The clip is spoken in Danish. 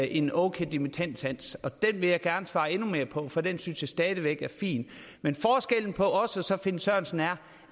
en okay dimittendsats det vil jeg gerne svare endnu mere på for den synes jeg stadig væk er fin men forskellen på os og finn sørensen er